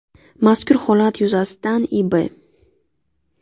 Mazkur holat yuzasidan I.B.